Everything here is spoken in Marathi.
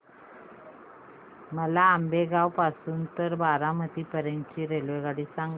मला आंबेगाव पासून तर बारामती पर्यंत ची रेल्वेगाडी सांगा